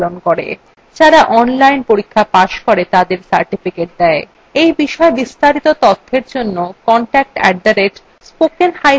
যারা online পরীক্ষা pass করে তাদের certificates দেয়